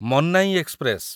Mannai express